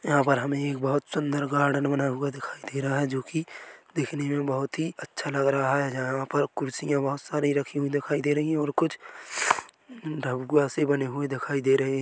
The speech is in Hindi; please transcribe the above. यहाँ पर हमे एक बहुत सुन्दर गार्डन बना हुआ दिखाई दे रहा है जो कि दिखने मे बहुत ही अच्छा लग रहा है यहाँ पर कुर्सिया बहुत सारी रखी हुई दिखाई दे रही है और कुछ से बनी हुई दिखाई दे रही है।